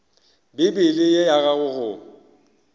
bibele ye ya gago go